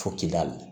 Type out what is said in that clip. Fo kidali